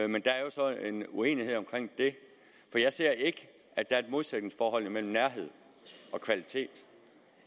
men der er så en uenighed om det for jeg ser ikke at der er et modsætningsforhold mellem nærhed og kvalitet